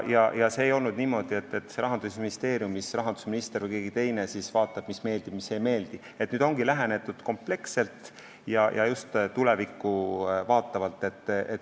See ei olnud niimoodi, et rahandusminister või keegi teine siis vaatab, mis meeldib, mis ei meeldi, vaid nüüd ongi lähenetud kompleksselt ja just tulevikku vaatavalt.